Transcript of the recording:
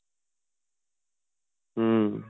ਹਮ